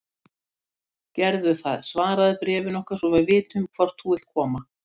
Gerðu það svaraðu bréfinu okkar svo við vitum hvort þú vilt koma.